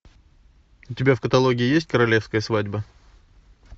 у тебя в каталоге есть королевская свадьба